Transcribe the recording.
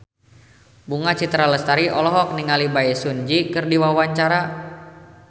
Bunga Citra Lestari olohok ningali Bae Su Ji keur diwawancara